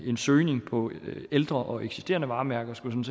en søgning på ældre og eksisterende varemærker skulle